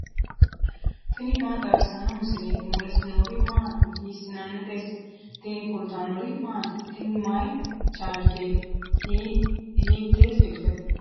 tini maa xawissanno misileeti ? mulese noori maati ? hiissinannite ise ? tini kultannori maati? Tini mayi charigeti? hiitte silikete?